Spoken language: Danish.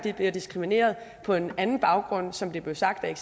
bliver diskrimineret på en anden baggrund som det blev sagt af